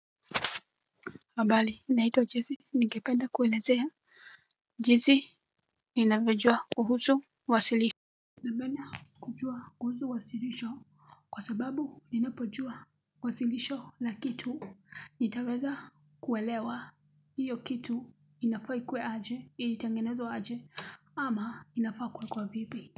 Habari naitwa jesse, ningependa kuelezea jinsi ninavyojua kuhusu wasilisho. Napenda kujua kuhusu wasilisho kwa sababu ninapojua wasilisho la kitu. Nitaweza kuelewa hio kitu inafaa ikuwe aje ilitengenezwa aje ama inafaa kuwekwa vipi.